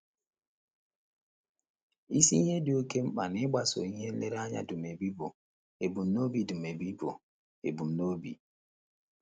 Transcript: Isi ihe dị oké mkpa n’ịgbaso ihe nlereanya Dumebi bụ ebumnobi Dumebi bụ ebumnobi.